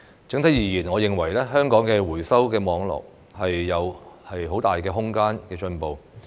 整體而言，我認為香港的回收網絡仍有很大的進步空間。